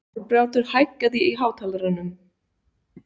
Árbjartur, hækkaðu í hátalaranum.